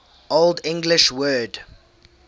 old english word